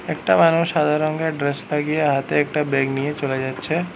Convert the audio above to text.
একটা মানুষ সাদা রংগের ড্রেস লাগিয়ে হাতে একটা ব্যাগ নিয়ে চলে যাচ্ছে।